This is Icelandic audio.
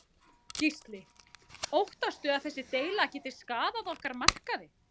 Gísli: Óttastu að þessi deila geti skaðað okkar markaði?